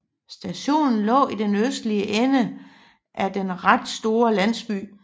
Stationen lå i den østlige ende af den ret store landsby